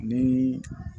Ni